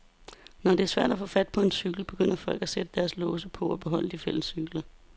Når det er svært at få fat på en cykel, begynder folk at sætte deres egne låse på og beholde de fælles cykler.